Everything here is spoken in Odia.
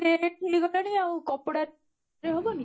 rate ହେଈଗଲାଣି ଆଉ କପଡ଼ା ରେ ହବନି?